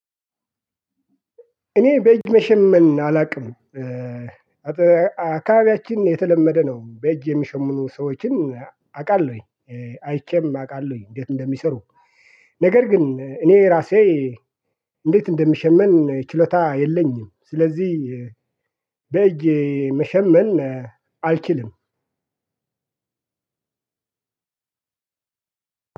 እኔ በእጅ መሸመን አላውቅም። አካባቢያችን የተለመደ ነው። በእጅ የሚሸሙኑ ሰዎችን አውቃለሁኝ አይቼም አውቃለሁኝ እንዴት እንደሚሰሩ። ነገር ግን እኔ ራሴ እንዴት እንደሚሸመን ችሎታ የለኝም። ስለዚህ በእጅ መሸመን አልችልም።